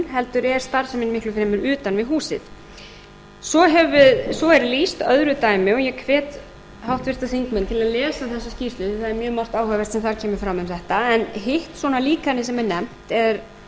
heldur er starfsemin miklu fremur utan við húsið svo er lýst öðru dæmi og ég hvet háttvirtir þingmenn til að lesa um þessa skýrslu því það er mjög margt áhugavert sem þar kemur fram um þetta en hitt svona líkanið sem er nefnt